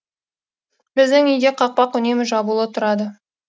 біздің үйде қақпақ үнемі жабулы тұрады